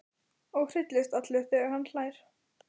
Og hristist allur þegar hann hlær.